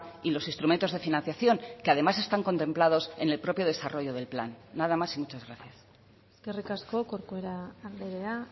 y los instrumentos de financiación que además están contemplados en el propio desarrollo del plan nada más y muchas gracias eskerrik asko corcuera andrea